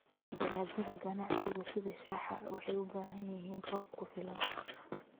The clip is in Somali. Dalagyada ganacsiga sida shaaha waxay u baahan yihiin roob ku filan.